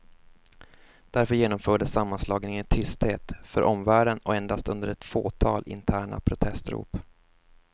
Därför genomfördes sammanslagningen i tysthet för omvärlden och endast under ett fåtal interna protestrop.